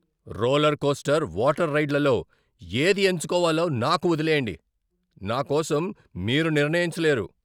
Roller coaster, water రైడ్లలో ఏది ఎంచుకోవాలో నాకు వదిలేయండి, నా కోసం మీరు నిర్ణయించలేరు.